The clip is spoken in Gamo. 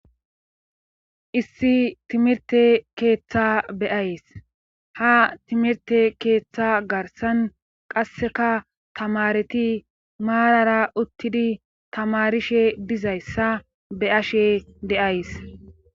Issi timirte keeththa beyays ha timirte keeththa garsan qasseka tamareti maarara uttidi tamarishe dizayssa be ashe deays.